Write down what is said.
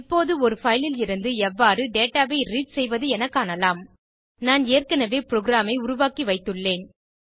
இப்போது ஒரு பைல் லிருந்து எவ்வாறு டேட்டா ஐ ரீட் செய்வது என காணலாம் நான் ஏற்கனவே புரோகிராம் ஐ உருவாக்கி வைத்துள்ளேன்